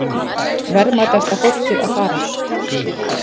Verðmætasta fólkið að fara